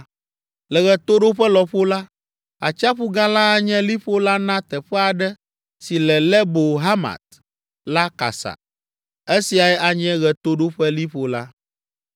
Le ɣetoɖoƒe lɔƒo la, Atsiaƒu Gã la anye liƒo la na teƒe aɖe si le Lebo Hamat la kasa. Esiae anye ɣetoɖoƒeliƒo la.